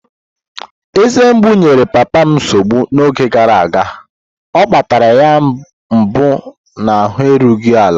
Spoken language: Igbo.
Eze mgbu enyere papa m nsogbu n'oge gara aga, o akpatara ya mgbu na ahụ erughị ala.